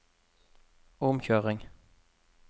omkjøring